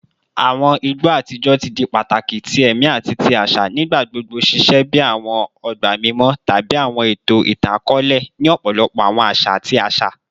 Awọn igbo atijọ ti di pataki ti ẹmi ati ti aṣa, nigbagbogbo ṣiṣẹ bi awọn ọgba mimọ tabi awọn eto itan-akọọlẹ ni ọpọlọpọ awọn aṣa ati aṣa.